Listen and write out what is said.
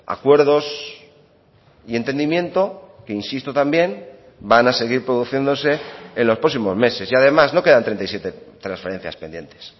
acuerdos y entendimiento que insisto también van a seguir produciéndose en los próximos meses y además no quedan treinta y siete transferencias pendientes